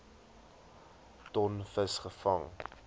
ton vis gevang